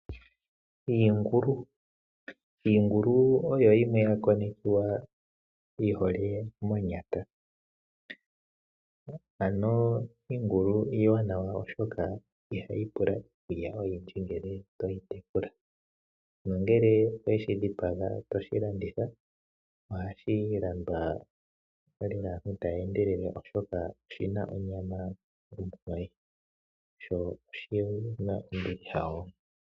Iingulu. Iingulu oyo yimwe yakonekiwa yihole monyata, ano iingulu iiwanawa oshoka ihayi pula iikulya oyindji ngele to yi tekula. Nongele owe shi dhipaga to shi landitha, ohashi landwa lela aantu ta ya endelele oshoka oshi na onyama ontoye.